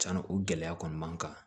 Cɛnna o gɛlɛya kɔni b'an kan